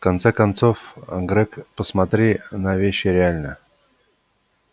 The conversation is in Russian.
в конце концов грег посмотри на вещи реально